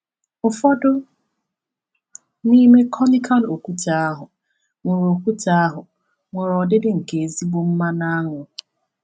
Ụfọdụ n’ime conical okwute ahụ were okwute ahụ were ọdịdị nke ezigbo mmanụ aṅụ.